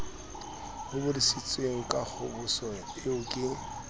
hobositsweng ka kgoboso eo ke